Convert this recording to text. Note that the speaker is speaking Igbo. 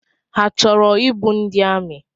Ha chọrọ ịbụ ndị amị?